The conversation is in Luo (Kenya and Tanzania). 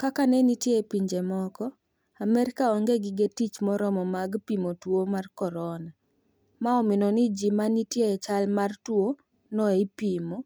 kaka nenitie e pinje moko, Amerika onge gige tich moromo mag pimo tuwo mar Corona. ma omino ni ji manitie e chal marach mar tuwo no ema ipimo.